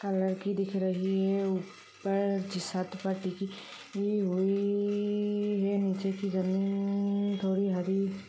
colour की दिख रही है ऊपर छत पर टिकी हुई है निचे की जमीन थोड़ी हरी --